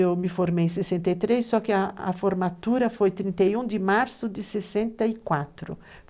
Eu me formei em 63, só que a formatura foi 31 de março de 64.